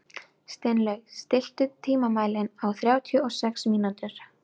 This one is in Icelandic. Steinlaug, stilltu tímamælinn á þrjátíu og sex mínútur.